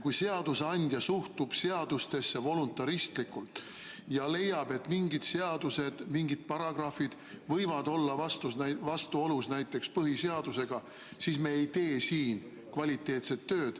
Kui seadusandja suhtub seadustesse voluntaristlikult ja leiab, et mingid seadused, mingid paragrahvid võivad olla vastuolus näiteks põhiseadusega, siis me ei tee siin kvaliteetset tööd.